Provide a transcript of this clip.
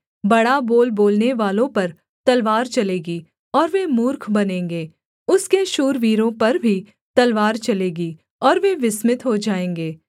बड़ा बोल बोलनेवालों पर तलवार चलेगी और वे मूर्ख बनेंगे उसके शूरवीरों पर भी तलवार चलेगी और वे विस्मित हो जाएँगे